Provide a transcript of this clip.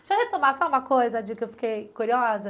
Deixa eu retomar só uma coisa de que eu fiquei curiosa.